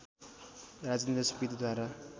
Rajendra सुवेदीद्वारा